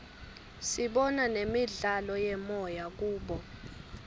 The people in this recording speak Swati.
sibona nemidlalo yemoya kubo